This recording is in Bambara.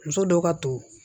Muso dɔw ka to